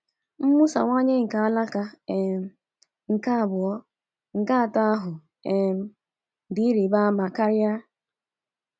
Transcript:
Mwusawanye nke alaka um nke abụọ nke otu ahụ um dị ịrịba ama karị.